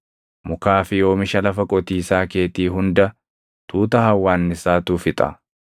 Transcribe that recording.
Mukaa fi oomisha lafa qotiisaa keetii hunda tuuta hawwaannisaatu fixa.